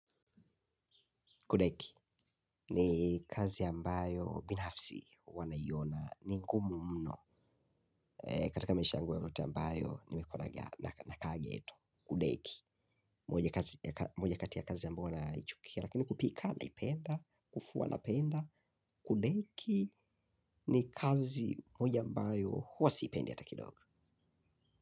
Kudeki, ni kazi ambayo binafsi huwa naiyona, ni ngumu mno, katika maisha yangu yote ambayo, nimekuwa nakaa gheto, kudeki, moja moja kati ya kazi ambao naichukia, lakini kupika, naipenda, kufua napenda, kudeki, ni kazi moja mbayo huwa sipendi ata kidogo.